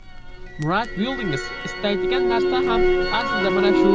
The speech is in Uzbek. Murad Buildings istaydigan narsa ham aslida mana shu.